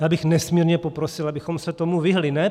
Já bych nesmírně poprosil, abychom se tomu vyhnuli.